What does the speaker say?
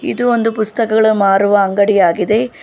ಇದು ಒಂದು ಪುಸ್ತಕಗಳ ಮಾರುವ ಅಂಗಡಿಯಾಗಿದೆ.